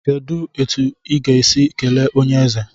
Kedụ etu m ga-esi kelee onyeeze?